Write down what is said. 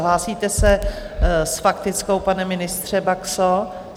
Hlásíte se s faktickou, pane ministře, Baxo?